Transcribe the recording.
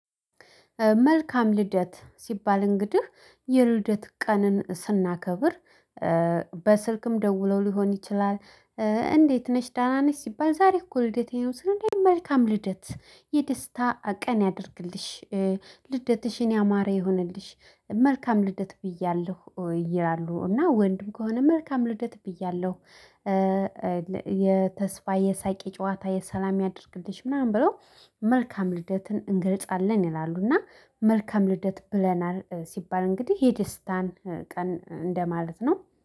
መልካም ልደት ሲባል እንግዲህ የልደት ቀንን ስናከብር በስልክም ደውለው ሊሆን ይችላል። እንዴት ነሽ ደና ነሽ ሲባል ዛሬ እኮ ልደቴ ነው። ስል መልካም ልደት የደስታ ቀን ያድርግልሽ። ልደትሽን ያማረ ይሁንልሽ መልካም ልደት ብያለሁ። ይላሉ እና ወንድም ከሆነ መልካም ልደት ብያለሁ። የተስፋ የሳቅ ጨዋታ የሰላም ያድርግልሽ ምናምን ብለው መልካም ልደትን እንገልጻለን። ይላሉና መልካም ልደት ብለናል ሲባል እንግዲህ የደስታን ቀን እንደማለት ነው